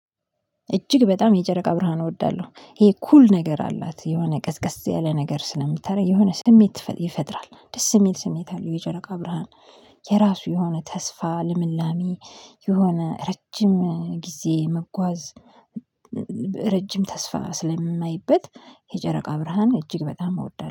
እጅግ በጣም የጨረቃ ብርሃን እወዳለሁ ይሄ ኩል ነገር አላት የሆነ ቀዝቀዝ ያለ ነገር ስለምታረግ የሆነ ስሜት ይፈጥራል ደስ የሚል ስሜት አለው። የጨረቃ ብርሃን የራሱ የሆነ ተስፋ ልምላሜ የሆነ ረጅም ጊዜ መጓዝ። ረጅም ተስፋ ስለማይበት የጨረቃ ብርሃን እጅግ በጣም አወዳለሁ